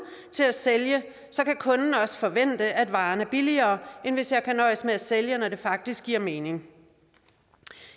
til at sælge kan kunden også forvente at varen er billigere end hvis jeg kan nøjes med at sælge når det faktisk giver mening